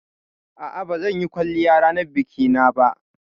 A'a, ba zan yi kwalliya ranar biki na ba